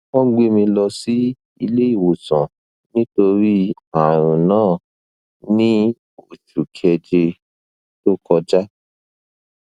wọn gbé mi lọ sílé ìwòsàn nítorí ààrùn náà ní oṣù kéje tó kọjá